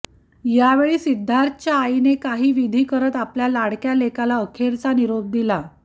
यावेळी सिद्धार्थच्या आईने काही विधी करत आपल्या लाडक्या लेकाला अखेरचा निरोप दिला